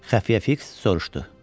Xəfiyyə fiks soruşdu.